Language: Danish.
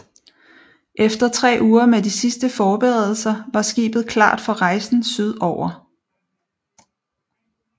Efter tre uger med de sidste forberedelser var skibet klart for rejsen syd over